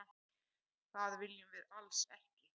Það viljum við alls ekki.